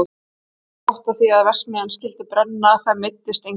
Hann hafði bara gott af því að verksmiðjan skyldi brenna, það meiddist enginn.